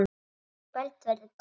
Í kvöld verður ball.